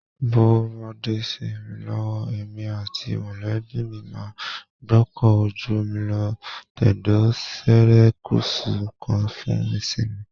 Bówó bá dé sí mi lọ́wọ́, èmi àti mọ̀lẹ́bí mi máa gbọ́kọ̀ ojú omi lọ tẹ̀dó serékùsù kan fún ìsinmi